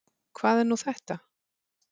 Hvað er nú þetta?